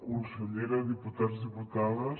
consellera diputats diputades